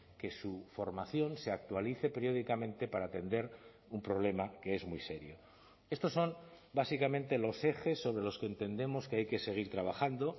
que su formación se actualice periódicamente para atender un problema que es muy serio estos son básicamente los ejes sobre los que entendemos que hay que seguir trabajando